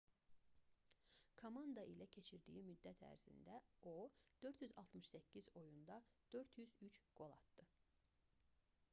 komanda ilə keçirdiyi müddət ərzində o 468 oyunda 403 qol atdı